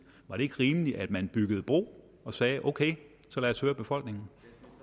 var det ikke rimeligt at man byggede bro og sagde ok så lad os høre befolkningen